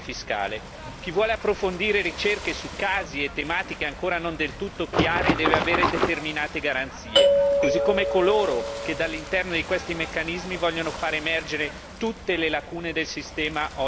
Chi vuole approfondire ricerche su casi e tematiche ancora non del tutto chiari deve avere determinate garanzie, così come coloro che dall'interno di questi meccanismi voglio far emergere tutte le lacune del sistema oggi in vigore.